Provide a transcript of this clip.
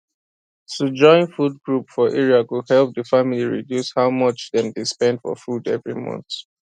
to join food group for area go help the family reduce how much dem dey spend for food every month